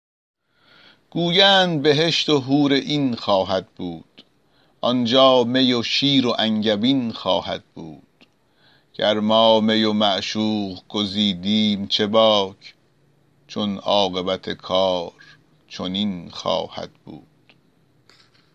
گویند بهشت و حورعین خواهد بود آنجا می و شیر و انگبین خواهد بود گر ما می و معشوق گزیدیم چه باک چون عاقبت کار چنین خواهد بود